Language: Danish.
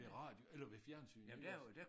I radio eller ved fjernsyn iggås